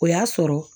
O y'a sɔrɔ